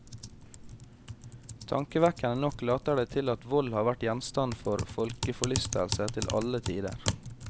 Tankevekkende nok later det til at vold har vært gjenstand for folkeforlystelse til alle tider.